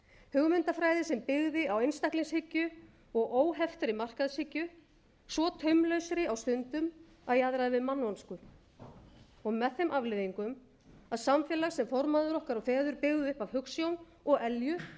hugmyndafræði sem byggði á einstaklingshyggju og óheftri markaðshyggju svo taumlausri stundum að jaðraði við mannvonsku með þeim afleiðingum að samfélag sem formæður okkar og feður byggðu upp af hugsjón og elju